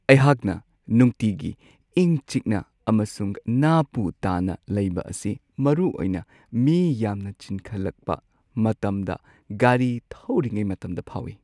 ꯑꯩꯍꯥꯛꯅ ꯅꯨꯡꯇꯤꯒꯤ ꯏꯪ-ꯆꯤꯛꯅ ꯑꯃꯁꯨꯡ ꯅꯥ-ꯄꯨ ꯇꯥꯅ ꯂꯩꯕ ꯑꯁꯤ ꯃꯔꯨꯑꯣꯏꯅ ꯃꯤ ꯌꯥꯝꯅ ꯆꯤꯟꯈꯠꯂꯛꯄ ꯃꯇꯝꯗ ꯒꯥꯔꯤ ꯊꯧꯔꯤꯉꯩ ꯃꯇꯝꯗ ꯐꯥꯎꯋꯤ ꯫